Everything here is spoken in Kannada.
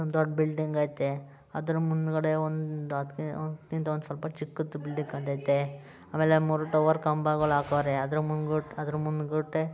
ಒಂದು ದೊಡ್ಡ ಬಿಲ್ಡಿಂಗ್ ಐತೆ ಅದರ ಮುಂದಗಡೆ ಒಂದು ಅದ್ ಕಿಂತ ಸ್ವಲ್ಪ ಚಿಕ್ಕದು ಬಿಲ್ಡಿಂಗ್ ಕಾಣ್ತೈತೆ ಆಮೇಲೆ ಮೂರು ಟವರ್ ಕಂಬಗಳ್ ಹಾಕವ್ರೆ ಅದ್ರ್ ಮುಂದ್ ಗುಟ್ಟೆ --